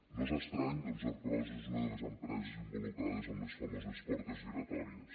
no és estrany ja que ercros és una de les empreses involucrades en les famoses portes giratòries